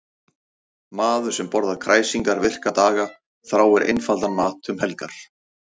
Maður sem borðar kræsingar virka daga þráir einfaldan mat um helgar.